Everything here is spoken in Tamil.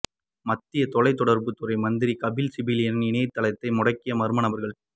மத்திய தொலைத்தொடர்பு துறை மந்திரி கபில் சிபிலினின் இணையத்தை முடக்கிய மர்ம நபர்கள்